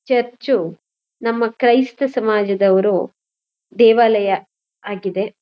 Church ನಮ್ಮ ಕ್ರೈಸ್ತ ಸಮಾಜದವರು ದೇವಾಲಯ ಆಗಿದೆ.